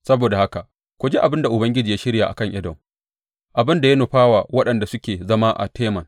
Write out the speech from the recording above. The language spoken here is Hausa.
Saboda haka, ku ji abin da Ubangiji ya shirya a kan Edom, abin da ya nufa wa waɗanda suke zama a Teman.